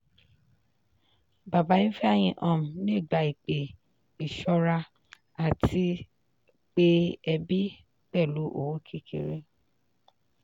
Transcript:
bàbá ifeanyi um le gba ìpè ìṣọ́ra àti pe ẹbí pẹ̀lú owó kékeré.